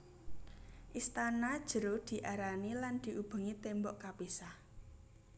Istana jero diarani lan diubengi tembok kapisah